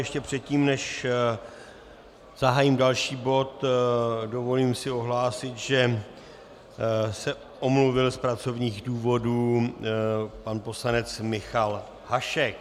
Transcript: Ještě předtím, než zahájím další bod, dovolím si ohlásit, že se omluvil z pracovních důvodů pan poslanec Michal Hašek.